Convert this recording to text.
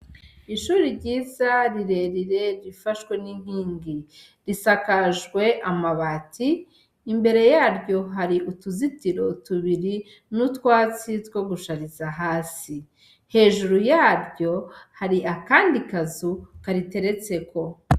Ishure ryiza rirerire rifashwe n'inkingi, risakajwe amabati, imbere yaryo hari utuzitiro tubiri n'utwatsi two gushariza hasi. Hejuru yaryo hari akandi kazu kariteretseko.